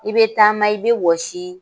I be taama i be wɔsii